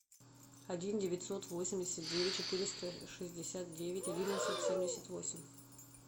один девятьсот восемьдесят девять четыреста шестьдесят девять одиннадцать семьдесят восемь